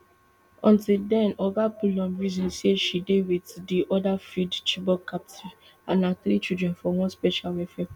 until den oga bullum reason say she dey wit di oda freed chibok captives and her three children for one special welfare programme